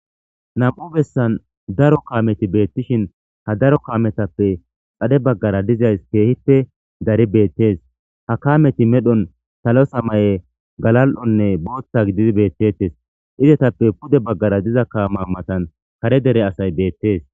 nam7u bessan daro kaameti beettishin ha daro kaametappe xade baggara dizays keehippe dari beettees ha kaameti medhon salo samaye galal7onne booththa gidid bettettes izetappe pude baggara diza kaama matan kare dere asay beettes